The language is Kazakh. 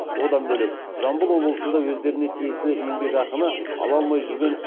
одан бөлек жамбыл облысында өздеріне тиесілі еңбекақыны ала алмай жүрген